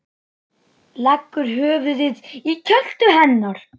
Leggur höfuðið í kjöltu hennar.